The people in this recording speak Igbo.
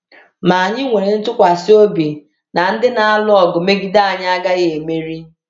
Ma anyị nwere ntụkwasị obi na ndị na-alụ ọgụ megide anyị agaghị emeri.